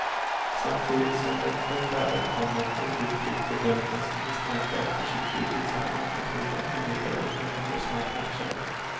Samtidigt som den förfärade honom undertryckte den hans misstankar och försiktighet tills han anförtrodde hemligheter åt människor som han knappt kände.